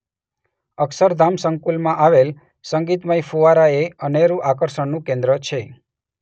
અક્ષરધામ સંકુલમાં આવેલ સંગીતમય ફુવારા એ અનેરું આકર્ષણનું કેન્દ્ર છે.